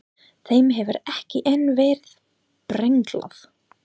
Þeim hefur ekki enn verið brenglað.